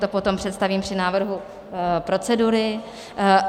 To potom představím při návrhu procedury.